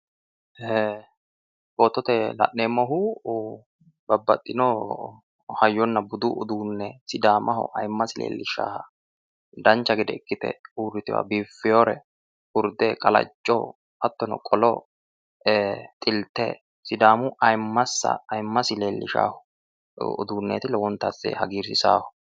ee footote la'neemmohu babbaxitino hayyonna budu uduunne sidaamaho ayiimmasi leellishaaha dancha gede ikkite uurritewore biiffinore urde qalacco hattono ee xilte sidaamu ayiimmansa ayiimmasi leellishanno uduunneeti hagiirsiisaaho.